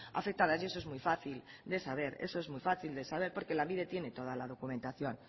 afectadas y eso es muy fácil de saber eso es muy fácil de saber porque lanbide tiene toda la documentación